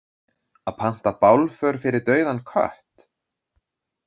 Að panta bálför fyrir dauðan kött?